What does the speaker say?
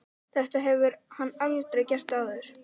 Þetta hefur hann aldrei gert áður.